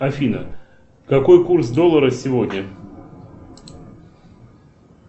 афина какой курс доллара сегодня